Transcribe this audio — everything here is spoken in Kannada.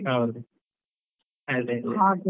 ಹೌದು, ಅದೇ ಅದೇ.